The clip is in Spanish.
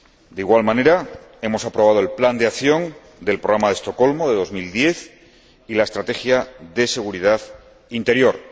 De igual manera, hemos aprobado el plan de acción del Programa de Estocolmo de 2010 y la Estrategia de seguridad interior.